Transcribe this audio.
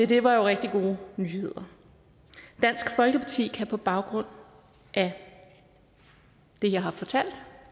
det var jo rigtig gode nyheder dansk folkeparti kan på baggrund af det jeg har fortalt